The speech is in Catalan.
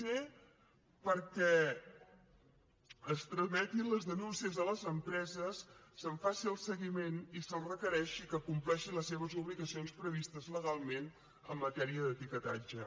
c perquè es trametin les denúncies a les empreses se’n faci el seguiment i se’ls requereixi que compleixin les seves obligacions previstes legalment en matèria d’etiquetatge